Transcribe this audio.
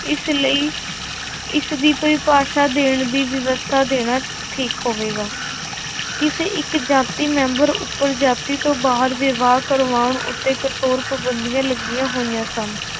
ਇਸ ਲਈ ਇਸਦੀ ਪਰਿਭਾਸ਼ਾ ਦੇਣ ਦੀ ਵਿਵਸਥਾ ਦੇਣਾ ਠੀਕ ਹੋਵੇਗਾ ਕਿਸੇ ਇੱਕ ਜਾਤੀ ਮੈਂਬਰ ਉੱਪਰ ਜਾਤੀ ਤੋਂ ਬਾਹਰ ਵਿਵਾਹ ਕਰਵਾਉਣ ਉੱਤੇ ਕਠੋਰ ਪਾਬੰਦੀਆਂ ਲੱਗੀਆਂ ਹੋਈਆਂ ਸਨ।